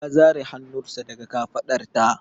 Ya zare hannunsa daga kafaɗarta.